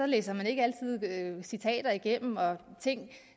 læser man ikke altid citater igennem og ting